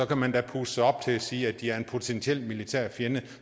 kan man da puste sig op til at sige at de er en potentiel militær fjende